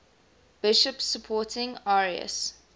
bishops supporting arius